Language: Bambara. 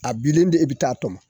A bilen di e bɛ taa tɔmɔ